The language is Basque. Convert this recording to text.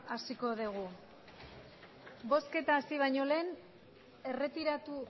hasiko degu bozketa hasi baino lehen erretiratu